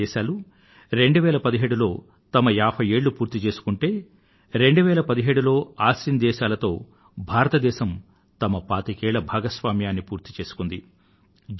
ASEAN దేశాలు 2017 లో తమ 50 ఏళ్ళు పూర్తి చేసుకుంటే 2017 లో ఆసియాన్ దేశాలతో భారతదేశం తమ పాతికేళ్ల భాగస్వామ్యాన్ని పూర్తిచేసుకొంది